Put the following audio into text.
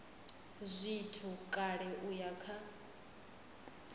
zwithu kale u ya kha